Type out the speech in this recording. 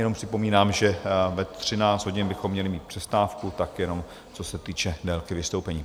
Jenom připomínám, že ve 13 hodin bychom měli mít přestávku, tak jenom co se týče délky vystoupení.